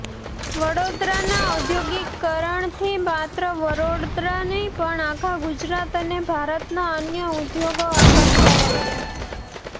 વડોદરાના ઔદ્યોગિકરણથી માત્ર વડોદરા નહી પણ આખા ગુજરાત અને ભારતના અન્ય ઉદ્યોગો આકર્ષાયા છે